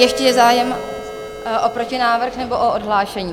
Ještě je zájem o protinávrh nebo o odhlášení?